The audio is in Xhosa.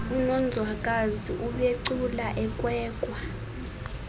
unonzwakazi ubecula ekwekwa